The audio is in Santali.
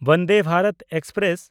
ᱵᱚᱱᱫᱮ ᱵᱷᱟᱨᱚᱛ ᱮᱠᱥᱯᱨᱮᱥ